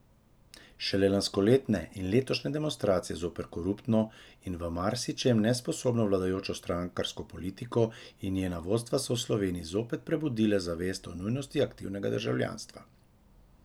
Šele lanskoletne in letošnje demonstracije zoper koruptno in v marsičem nesposobno vladajočo strankarsko politiko in njena vodstva so v Sloveniji zopet prebudile zavest o nujnosti aktivnega državljanstva.